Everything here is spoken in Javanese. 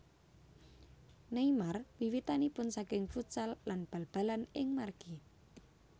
Neymar wiwitanipun saking futsal lan bal balan ing margi